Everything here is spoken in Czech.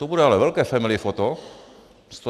To bude ale velké familly foto.